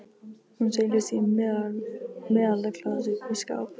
Hún seilist í meðalaglas uppi í skáp.